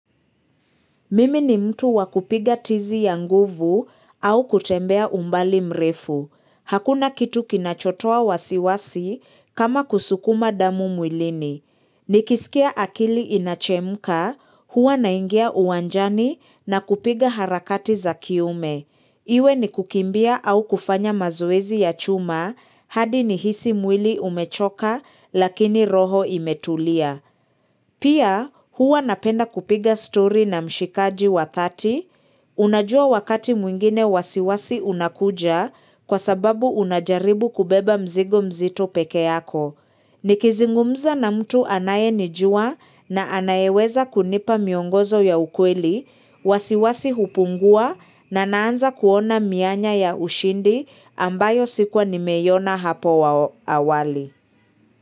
Mimi ni mtu wakupiga tizi ya nguvu au kutembea umbali mrefu. Hakuna kitu kinachotoa wasiwasi kama kusukuma damu mwilini. Nikisikia akili inachemka, huwa naingia uwanjani na kupiga harakati za kiume. Iwe ni kukimbia au kufanya mazoezi ya chuma hadi nihisi mwili umechoka lakini roho imetulia. Pia huwa napenda kupiga story na mshikaji wa thati, unajua wakati mwingine wasiwasi unakuja kwa sababu unajaribu kubeba mzigo mzito peke yako. Nikizungumza na mtu anayenijua na anayeweza kunipa miongozo ya ukweli, wasiwasi hupungua na naanza kuona mianya ya ushindi ambayo sikuwa nimeiona hapo awali.